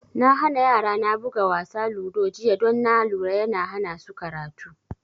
Na hana yara na buga wasa ludo jiya don na lura yana hana su karatu